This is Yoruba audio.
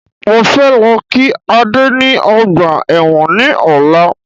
Mo fẹ́ lọ kí Ade ni ọgbà ẹ̀wọ̀n ní ọ̀la